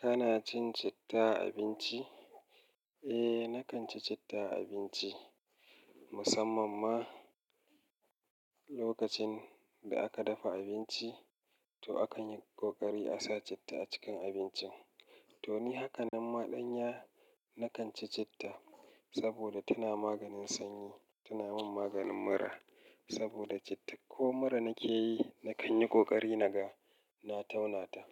Kana cin citta a abinci? Eh, nakan ci citta a abinci. Musamman ma lokacin da aka dafa abinci, to akan yi ƙoƙari a sa citta a cikin abincin. To ni hakanan ma ɗanya nakan ci citta saboda tana maganin sanyi, tana min maganin mura. Saboda citta ko mura nake yi, na kan yi ƙoƙari naga na tauna ta.